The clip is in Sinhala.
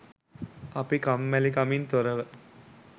අපි කම්මැලිකමින් තොරව